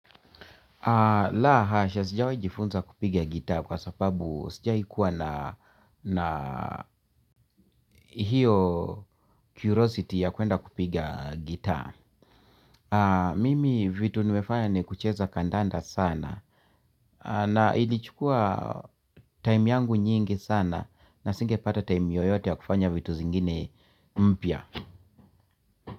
La hasha sijawehi jifunza kupiga guitar kwa sababu sijaikuwa na hiyo curiosity ya kuenda kupiga guitar. Mimi vitu nimefanya ni kucheza kandanda sana na ilichukua time yangu nyingi sana na singepata time yoyote ya kufanya vitu zingine mpya.